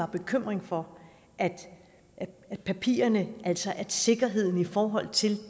bekymring for papirerne altså at sikkerheden i forhold til